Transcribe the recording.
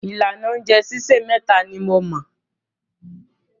Ìlànà oúnjẹ sísè méta ni mo mọ̀.